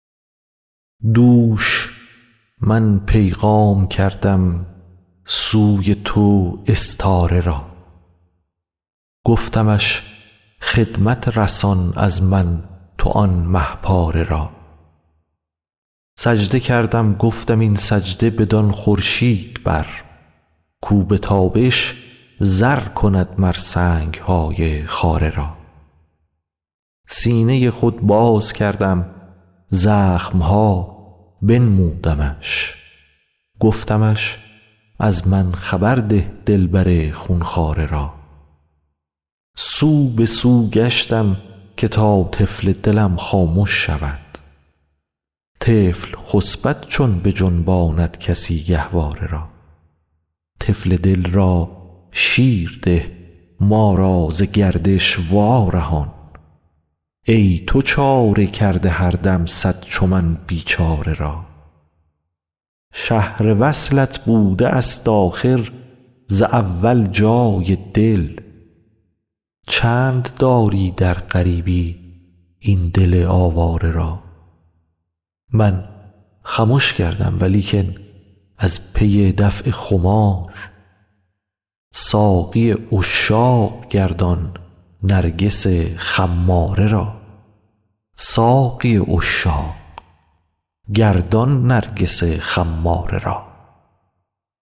دوش من پیغام کردم سوی تو استاره را گفتمش خدمت رسان از من تو آن مه پاره را سجده کردم گفتم این سجده بدان خورشید بر کاو به تابش زر کند مر سنگ های خاره را سینه ی خود باز کردم زخم ها بنمودمش گفتمش از من خبر ده دلبر خون خواره را سو به سو گشتم که تا طفل دلم خامش شود طفل خسپد چون بجنباند کسی گهواره را طفل دل را شیر ده ما را ز گردش وارهان ای تو چاره کرده هر دم صد چو من بیچاره را شهر وصلت بوده است آخر ز اول جای دل چند داری در غریبی این دل آواره را من خمش کردم ولیکن از پی دفع خمار ساقی عشاق گردان نرگس خماره را